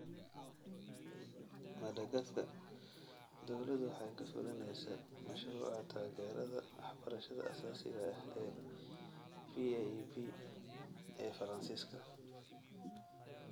Madagascar, dawladdu waxay ka fulinaysaa Mashruuca Taageerada Waxbarashada Aasaasiga ah (PAEB ee Faransiiska).